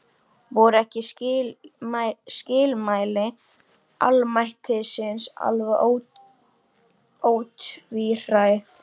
Voru ekki skilmæli almættisins alveg ótvíræð?